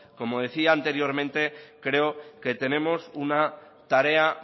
como decía anteriormente creo que tenemos una tarea